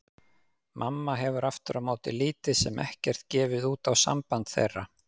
Mamma hefur aftur á móti lítið sem ekkert gefið út á samband þeirra.